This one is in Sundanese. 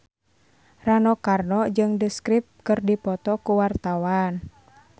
Rano Karno jeung The Script keur dipoto ku wartawan